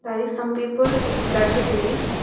here is some people with blurred face.